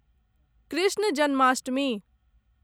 Krishna Janmashtami